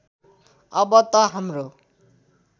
अब त हाम्रो